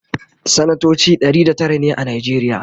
sanatoci Ɗari da Tara ne a najeriya